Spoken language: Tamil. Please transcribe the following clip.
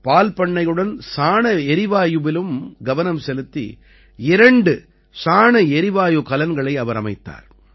பால்பண்ணையுடன் சாணஎரிவாயுவிலும் கவனம் செலுத்தி இரண்டு சாண எரிவாயு கலன்களை அவர் அமைத்தார்